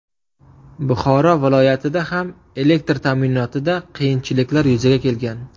Buxoro viloyatida ham elektr ta’minotida qiyinchiliklar yuzaga kelgan.